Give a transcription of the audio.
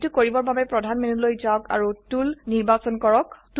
এইটো কৰিবৰ বাবে প্ৰধান মেনুলৈ যাওক আৰু টুল নিৰ্বাচন কৰক